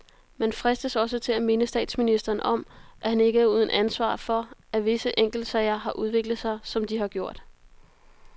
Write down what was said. Man fristes også til at minde statsministeren om, at han ikke er uden ansvar for, at visse enkeltsager har udviklet sig, som de har gjort.